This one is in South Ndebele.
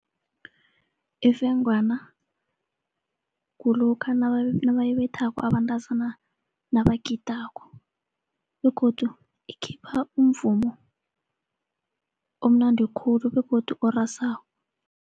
Ifengwana kulokha nabayibethako abantazana nabagidako begodu ikhipha umvumo omnandi khulu begodu orasako.